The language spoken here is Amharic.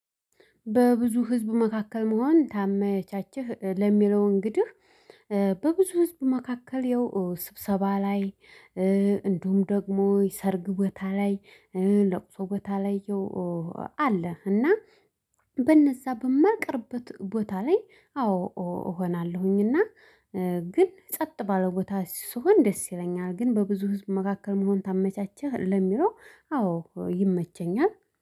በብዙ ህዝብ መካከል መሆን ታመቻችህ ለሚለው እንግዲህ በብዙ ህዝብ መካከል ያው ስብሰባ ላይ እንደውም ደግሞ ሰርግ ቦታ ላይ ለቅሶ በታ ላይ አለ እና በነዛ በማልቀርበት ቦታ ላይ አዎ እሆናለሁኝና ግን ጸጥ ባለው ቦታ ስሆን ደስ ይለኛል ግን በብዙ ህዝብ መካከል መሆን ታመቻቸህ? ለሚለው አዎ ይመቸኛል